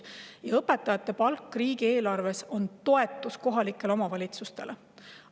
Ja õpetajate palk riigieelarves on toetus kohalikele omavalitsustele.